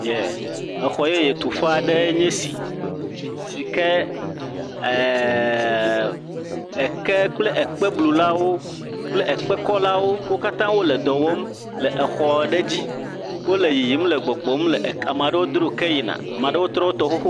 E xɔ yeye tu ƒe aɖe nye esi si ke eke kple ekpe blulawo kple ekpe kɔ la wo katã wo le ɖɔ wɔm le xɔ aɖe dzi wo le yiyim le gbɔgbɔm ameaɖe wo dro ke yi na.